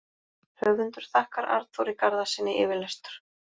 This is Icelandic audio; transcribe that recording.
Höfundur þakkar Arnþóri Garðarssyni yfirlestur.